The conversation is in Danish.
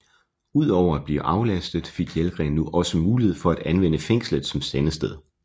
Ud over at blive aflastet fik Jelgren nu også mulighed fra at anvendte fængslet som sendested